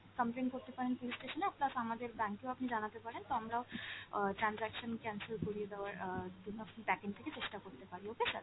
complain করতে পারেন police station এ plus আমাদের bank এও আপনি জানাতে পারেন, তো আমরাও অ transaction cancel করিয়ে দেওয়ার অ্যাঁ backend থেকে চেষ্টা করতে পারি okay sir,